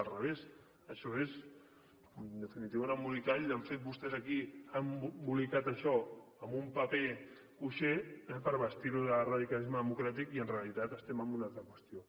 al revés això és en definitiva un embolcall l’han fet vostès aquí han embolicat això amb un paper cuixé per vestir ho de radicalisme democràtic i en realitat estem en una altra qüestió